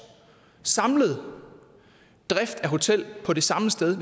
samlet drift af hotel på det samme sted